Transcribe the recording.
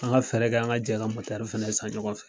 An ka fɛɛrɛ kɛ, an ka jɛ ka fana san ɲɔgɔn fɛ.